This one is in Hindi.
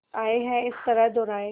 आए हैं इस तरह दोराहे